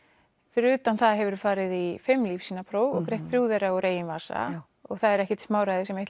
fyrir utan það hefur þú farið í fimm lífssýnapróf og greitt þrjá þeirra úr eigin vasa og það er ekkert smáræði sem eitt